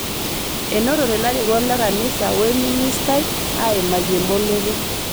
Enotote larikok le kanisa oo lmisnitai aimaki emboloto